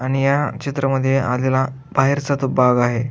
आणि या चित्रामध्ये आलेला बाहेरचा तो भाग आहे.